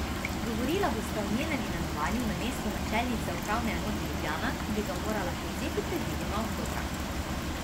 Govorila bosta o njenem imenovanju na mesto načelnice Upravne enote Ljubljana, ki bi ga morala prevzeti predvidoma oktobra.